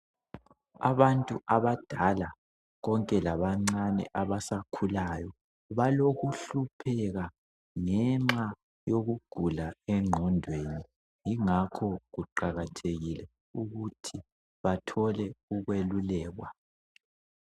Abantu abadala konke labancane abasakhulayo balokuhlupheka ngenxa yokugula engqondweni. Ingakho kuqakathekile ukuthi bathole ukwelulekwa